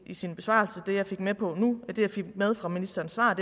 i sin besvarelse det jeg fik med fra ministerens svar